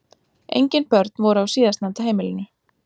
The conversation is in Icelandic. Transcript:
Engin börn voru á síðastnefnda heimilinu